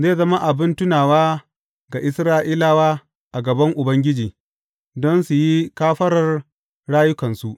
Zai zama abin tunawa ga Isra’ilawa a gaban Ubangiji, don su yi kafarar rayukansu.